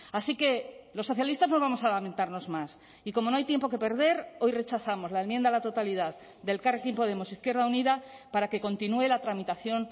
así que los socialistas no vamos a lamentarnos más y como no hay tiempo que perder hoy rechazamos la enmienda a la totalidad de elkarrekin podemos izquierda unida para que continúe la tramitación